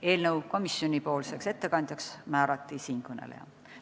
Eelnõu komisjonipoolseks ettekandjaks määrati siinkõneleja.